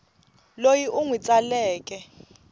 loyi u n wi tsaleke